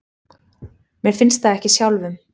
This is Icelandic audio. Mér finnst það ekki sjálfum.